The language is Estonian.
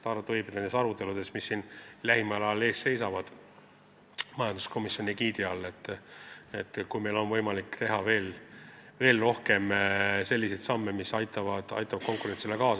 Arvata võib, et nende aruteludega, mis siin lähimal ajal majanduskomisjoni egiidi all ees seisavad, on meil võimalik teha veel rohkem selliseid samme, mis aitavad kaasa konkurentsivõime tõstmisele.